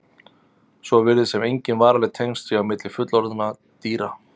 Svo virðist sem engin varanleg tengsl séu á milli fullorðinna dýra.